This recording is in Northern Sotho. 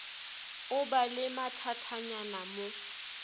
o ba le mathatanyana mo